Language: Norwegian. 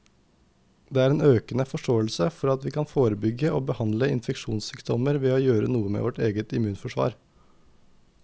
Det er en økende forståelse for at vi kan forebygge og behandle infeksjonssykdommer ved å gjøre noe med vårt eget immunforsvar.